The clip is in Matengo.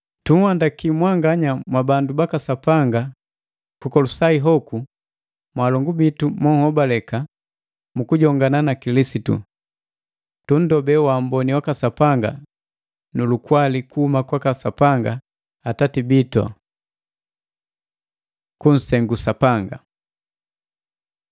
Tunhandaki mwanganya mwa bandu baka Sapanga ku Kolosai hoku, mwalongu bitu monhobaleka mukujongana na Kilisitu. Tundobe wamboni waka Sapanga nu lukwali kuhuma kwaka Sapanga Atati bitu. Kusengu Sapanga